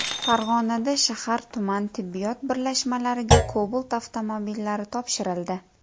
Farg‘onada shahar-tuman tibbiyot birlashmalariga Cobalt avtomobillari topshirildi.